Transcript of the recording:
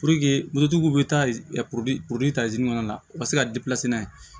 bɛ taa kɔnɔna la u ka se ka n'a ye